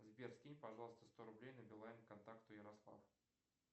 сбер скинь пожалуйста сто рублей на билайн контакту ярослав